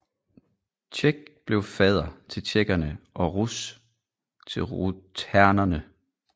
Czech blev fader til tjekkerne og Rus til rutenerne